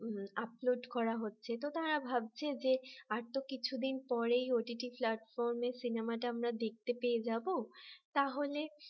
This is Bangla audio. upload করা হচ্ছে তো তারা ভাবছে যে আর তো কিছুদিন পরেই OTT platform সিনেমাটা আমরা দেখতে পেয়ে যাব তাহল